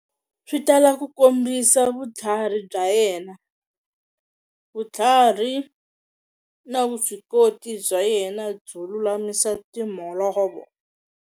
Swi tala ku kombisa vutlhari bya yena, vutlhari, na vuswikoti bya yena byo lulamisa timholovo.